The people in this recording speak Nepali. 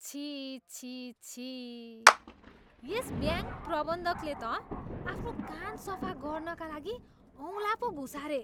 छिः छिः छिः। यस ब्याङ्क प्रबन्धकले त आफ्नो कान सफा गर्नाका लागि औँला पो घुसारे।